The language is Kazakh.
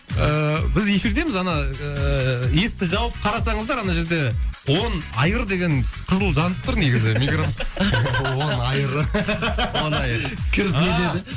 ыыы біз эфирдеміз ана ыыы есікті жауып қарасаңыздар ана жерде он айыр деген қызыл жанып тұр негізі он айыры он айыр кір де деді ааа